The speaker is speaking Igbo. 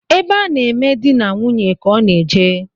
Ebe a na-eme dị na nwunye ka ọ na eje